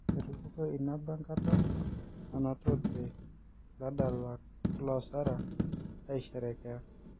Etupukuo in ba eenkata nanotote ladalak loosara aisherekea